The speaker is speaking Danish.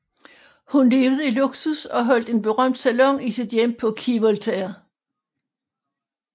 Hun levede i luksus og holdt en berømt salon i sit hjem på Quai Voltaire